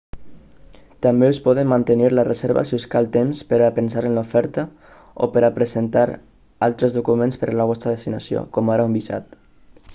també us poden mantenir la reserva si us cal temps per a pensar en l'oferta o per a presentar altres documents per a la vostra destinació com ara un visat